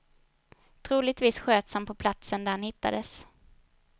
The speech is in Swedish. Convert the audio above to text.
Troligtvis sköts han på platsen där han hittades.